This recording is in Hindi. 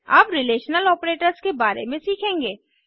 अब रिलेशनल ऑपरेटर्स के बारे में सीखेंगे